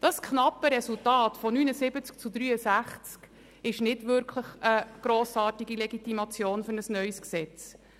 Das knappe Resultat von 79 Ja- gegen 63 Nein-Stimmen ist wirklich keine grossartige Legitimation für ein neues Gesetz.